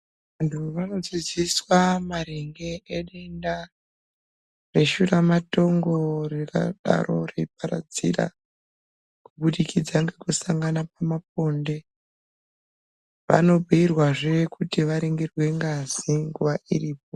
Vantu vanodzidaiswa maringe nedenda reshura matongo ringadaro reiparadzira kubudikidza ngekusangana pamaponde vanobhiirwazve kuti varingirwe ngazi nguwa iripo.